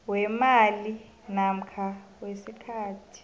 weemali namkha isikhathi